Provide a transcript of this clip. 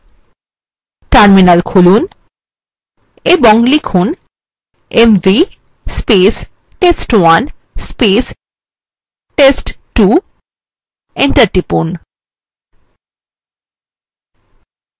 terminal খুলুন এবং লিখুন mv test1 test2 enter টিপুন